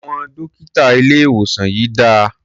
Àwọn dọ́kítà ilé-ìwòsàn yìí dà?